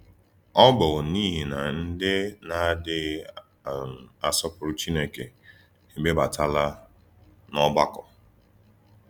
Ọ̀ bụ̀ n’íhì na ‘ndí na-àdíghì um àsọ̀pùrù Chínèkè ègbèbàtàlà n’ògbàkò.’